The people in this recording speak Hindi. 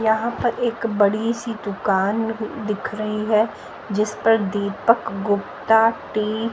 यहां पर एक बड़ी सी दुकान दिख रही है जिस पर दीपक गुप्ता टी --